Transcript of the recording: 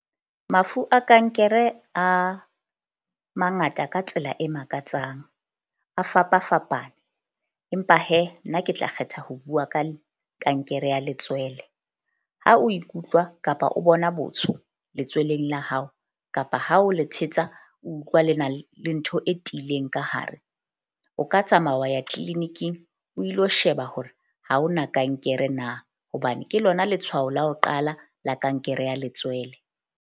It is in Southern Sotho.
Mafu a kankere a mangata ka tsela e makatsang a fapafapane, empa nna ke tla kgetha ho bua ka kankere ya letswele. Ha o ikutlwa kapa o bona botsho letsweleng la hao kapa ha o le thetsa o utlwa le na le ntho e tiileng ka hare. O ka tsamaya wa ya clinic-ing o ilo sheba hore ha ho na kankere na, hobane ke lona letshwao la ho qala la kankere ya letswele.